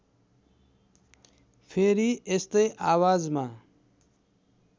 फेरि यस्तै आवाजमा